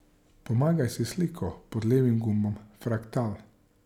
Pomagaj si s sliko pod levim gumbom Fraktal.